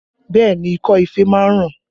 Bẹẹ ni, ikọ́ ife máa ń ràn